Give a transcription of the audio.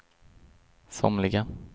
somliga